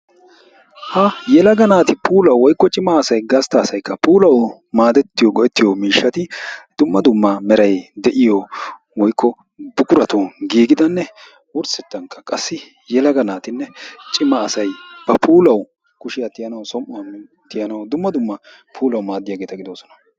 Ha yelaga naati puulaw woykko gastta asaykka puulaw go''ettiya miishshati dumma dumma meray de'iyo woykko buquratun giigidanne wurssetankka qassi yelaga naatinne cimma asayba puulaw kushiyaa tiyaanaw som''uwaa tiyaanaw dumma dumma puulaw maadiyaageeta gidoosona.